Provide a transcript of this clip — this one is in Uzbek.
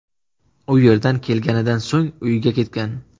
U yerdan kelganidan so‘ng uyiga ketgan.